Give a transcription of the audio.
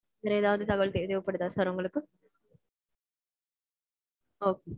வேற ஏதாவது தகவல் தேவைப்படுதா sir உங்களுக்கு? Okay